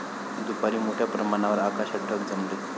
दुपारी मोठ्या प्रमाणावर आकाशात ढग जमले.